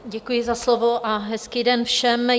Děkuji za slovo a hezký den všem.